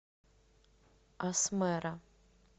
асмэра